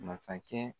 Masakɛ